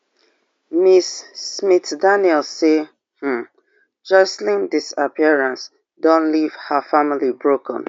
Ms. Smith Daniels say um joshlin disappearance don leave her family broken